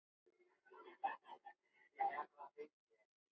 Hilmar pantaði enn einn bjór.